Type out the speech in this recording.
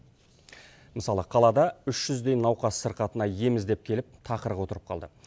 мысалы қалада үш жүздей науқас сырқатына ем іздеп келіп тақырға отырып қалды